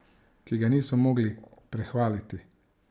Ki ga niso mogli prehvaliti.